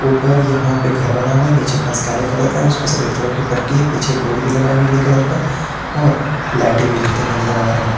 ऊपर यहां पे घर बना हुआ है नीचे फर्श काले कलर का उसपे सफेद कलर की पट्टी है पीछे बोर्ड भी लगा है नीले कलर का और लाइटे भी जलते हुए नजर आ रही है।